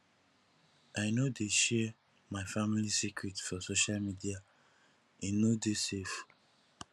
i no dey share my family secret for social media e no dey safe